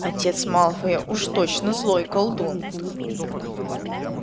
отец малфоя уж точно злой колдун